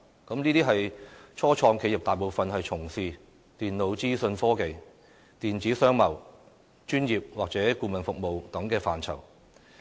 這些初創企業大部分從事電腦資訊科技、電子商貿、專業或顧問服務等範疇。